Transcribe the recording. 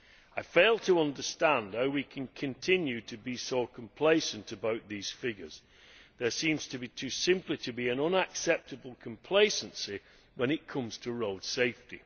I fail to understand how we can continue to be so complacent about these figures there seems to be simply an unacceptable complacency when it comes to road safety.